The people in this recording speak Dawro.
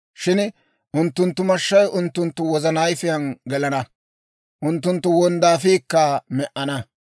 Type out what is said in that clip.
Shin unttunttu mashshay unttunttu wozana ayifiyaan gelana; unttunttu wonddaafiikka me"ana.